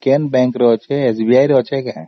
ଯେ account ଟା SBI ରେ ଅଛି କି